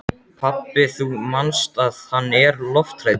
Pabbi, þú manst að hann er lofthræddur.